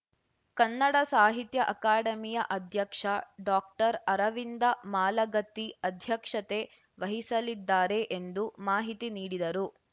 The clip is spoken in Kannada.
ಕನ್ನಡ ಸಾಹಿತ್ಯ ಅಕಾಡೆಮಿಯ ಅಧ್ಯಕ್ಷ ಡಾಕ್ಟರ್ಅರವಿಂದ ಮಾಲಗತ್ತಿ ಅಧ್ಯಕ್ಷತೆ ವಹಿಸಲಿದ್ದಾರೆ ಎಂದು ಮಾಹಿತಿ ನೀಡಿದರು